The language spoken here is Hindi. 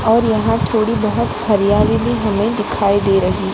और यहा थोड़ी बहोत हरियाली भी हमे दिखाई दे रही--